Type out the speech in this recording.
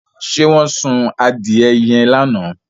Ṣé wọ́n sun adìẹ yẹn lánàá?